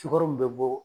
Sukaro mun bɛ bɔ